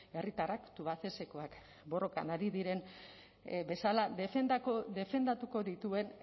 herritarrak tubacexekoak borrokan ari diren bezala defendatuko dituen